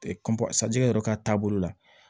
sanji yɛrɛ ka taa bolo la